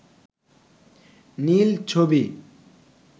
নীল ছবি